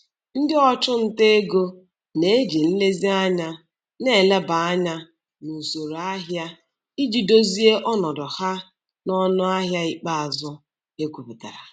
Ndị ọchụnta ego na-eji nlezianya na-eleba anya n'usoro ahịa iji dozie ọnọdụ ha n'ọnụahịa ikpeazụ ekwpụtara.